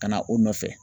Ka na o nɔfɛ